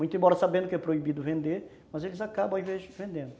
Muito embora sabendo que é proibido vender, mas eles acabam às vezes vendendo.